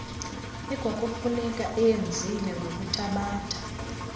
ekwakufuneka eyenzile ngokuthabatha